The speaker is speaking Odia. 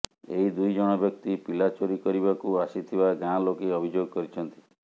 ଏହି ଦୁଇ ଜଣ ବ୍ୟକ୍ତି ପିଲା ଚୋରି କରିବାକୁ ଆସିଥିବା ଗାଁ ଲୋକେ ଅଭିଯୋଗ କରିଛନ୍ତି